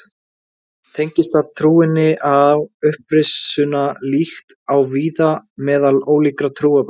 Tengist það trúnni á upprisuna líkt og víða meðal ólíkra trúarbragða.